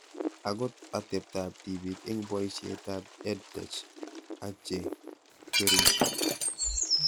Akot atepto ab tipik eng' poishet ab EdTech ak che kwerishe